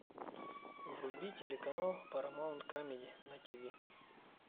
вруби телеканал парамаунт камеди на тв